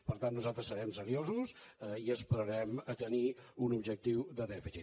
per tant nosaltres serem seriosos i esperarem a tenir un objectiu de dèficit